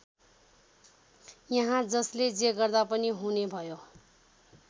यहाँ जसले जे गर्दा पनि हुने भयो।